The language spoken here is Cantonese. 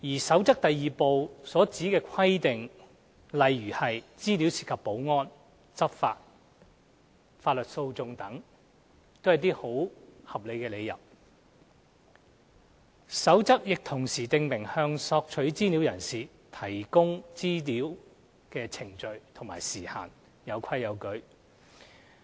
《守則》第2部所指的規定，例如有關資料涉及保安、執法或法律訴訟程序等，均為合理理由，《守則》亦同時訂明向索取資料人士提供索取資料的程序及時限，有規有矩。